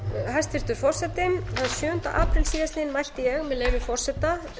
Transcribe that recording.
hæstvirtur forseti þann sjöunda apríl síðastliðinn mælti ég með leyfi forseta